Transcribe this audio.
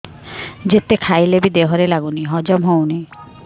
ଯେତେ ଖାଇଲେ ବି ଦେହରେ ଲାଗୁନି ହଜମ ହଉନି